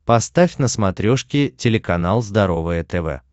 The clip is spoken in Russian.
поставь на смотрешке телеканал здоровое тв